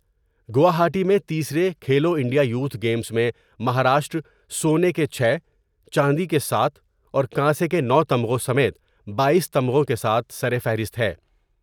گواہائی میں تیسرے Khelo India youth games میں مہاراشٹر سونے کے چھ ، چاندی کے ساتھ اور کانسے کے نو تمغوں سمیت باییس تمغوں کے ساتھ سرفہرست ہیں